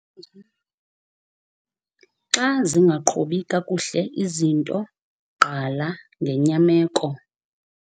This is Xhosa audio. Xa zingaqhubi kakuhle izinto, gqala ngenyameko